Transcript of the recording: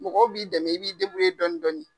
Mɔgɔ b'i dɛmɛ i b'i dɔɔnin dɔɔnin.